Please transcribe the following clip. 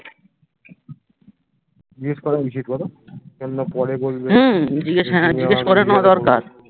জিজ্ঞেস করে উচিৎ বোলো? কেন না পরে